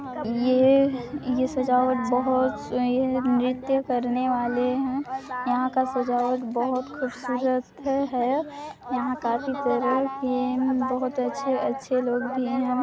ये सजावट बहुत नृत्य करने वाले है यहां का सजावट बहुत खूबसूरत है और यहां काफी बहुत अच्छे अच्छे लोग भी है।